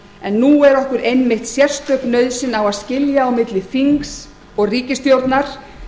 en nú er okkur einmitt sérstök nauðsyn á að skilja á milli þings og ríkisstjórnar